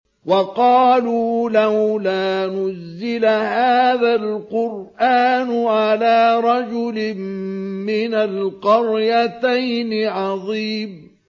وَقَالُوا لَوْلَا نُزِّلَ هَٰذَا الْقُرْآنُ عَلَىٰ رَجُلٍ مِّنَ الْقَرْيَتَيْنِ عَظِيمٍ